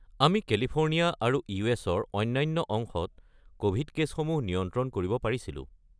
আমি কেলিফোৰ্ণিয়া আৰু ইউ.এছ.-ৰ অন্যান্য অংশত ক'ভিড কে'ছসমূহ নিয়ন্ত্ৰন কৰিব পাৰিছিলোঁ।